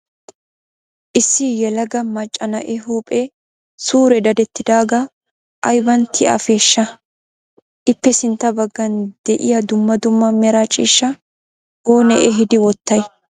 Issi yelaga macca na"ee huuphe suure dadettidaagaa ayiban ti"afeeshsha? Ippe sintta baggan de'iyaa dumma dumma mera ciishshaa oone ehiidi wottayi?